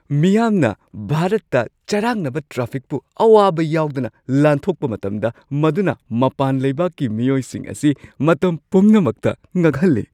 ꯃꯤꯌꯥꯝꯅ ꯚꯥꯔꯠꯇ ꯆꯔꯥꯡꯅꯕ ꯇ꯭ꯔꯥꯐꯤꯛꯄꯨ ꯑꯋꯥꯕ ꯌꯥꯎꯗꯅ ꯂꯥꯟꯊꯣꯛꯄ ꯃꯇꯝꯗ ꯃꯗꯨꯅ ꯃꯄꯥꯟ ꯂꯩꯕꯥꯛꯀꯤ ꯃꯤꯑꯣꯏꯁꯤꯡ ꯑꯁꯤ ꯃꯇꯝ ꯄꯨꯝꯅꯃꯛꯇ ꯉꯛꯍꯜꯂꯤ꯫